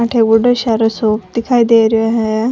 अठे बड़ो सारा शॉप दिखाई दे रो है।